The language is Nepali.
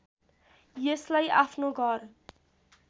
यसलाई आफ्नो घर